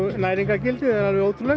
næringargildið er ótrúlegt